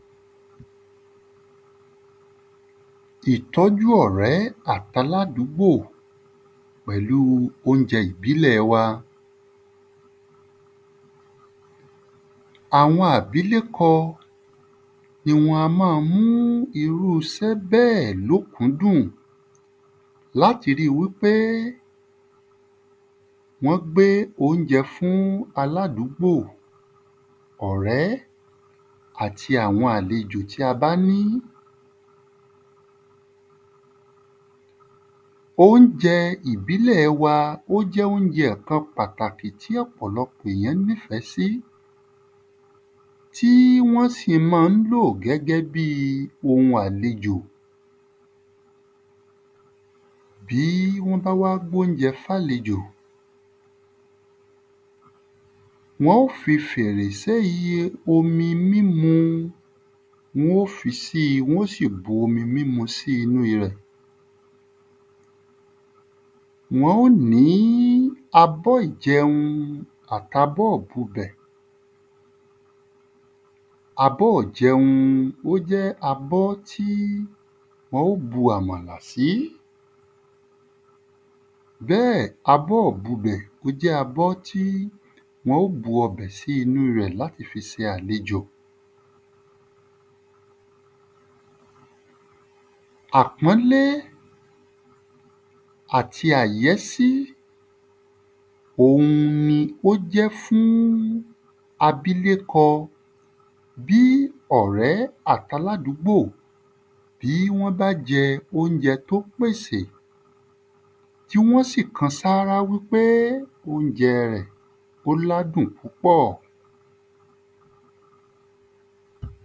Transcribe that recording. Ìtọ́jú ọ̀rẹ́ àt’aládúgbò pẹ̀lú u óunjẹ ìbílẹ̀ wa Àwọn àbílẹ́kọ, ni wọn a má a mú irú isẹ́ bẹ́ẹ̀ l'ókúndùn l'áti rí i wí pé wọ́n gbé ọ́unjẹ fún aládúgbò ọ̀rẹ́, àti àwọn àlejò tí a bá ní. Ọ́unjẹ ìbílẹ̀ wa ó jẹ́ ọ́unjẹ kan pàtàkì tí ọ̀pọ̀lọpọ̀ èyàn ní fẹ́ sí tí wọ́n sì má ń lò gẹ́gẹ́ bí i ohun àlejò. Bí wọ́n bá wá gb’óunjẹ f'álejò, Wọ́n ó fi fèrè s’éyí e omi mímu Wọ́n ó fi sí i wọ́n ó sì bu omi mímu sí nú rẹ̀. Wọ́n ó ní abọ́ ìjẹun àt’abọ́ ìbubẹ̀. Abọ́ 'jẹun ó jẹ́ abọ́ tí wọn ó bu àmàlà sí. Bẹ́ẹ̀ abọ́ 'bubẹ̀ ó jẹ́ abọ́ tí wọn ó bu ọbẹ̀ sí inú rẹ̀ l’áti fi se àlejò Àpọ́nlé àti àyésí òun ni ó jẹ́ fún abílékọ Bí ọ̀rẹ́ àt’aládúgbò bí wọ́n bá jẹ́ óunjẹ t'ó pèsè, tí wọ́n sì kan sárá wí pé óunjẹ rẹ̀ ó l'ádùn púpọ̀.